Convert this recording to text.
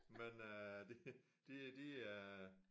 Men øh de de er